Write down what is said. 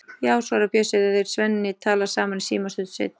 Já, svarar Bjössi þegar þeir Svenni tala saman í síma stuttu seinna.